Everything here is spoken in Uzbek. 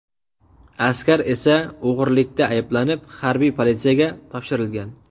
Askar esa o‘g‘irlikda ayblanib, harbiy politsiyaga topshirilgan.